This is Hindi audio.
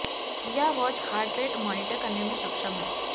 यह वॉच हर्ट रेट मॉनिटर करने में सक्षम है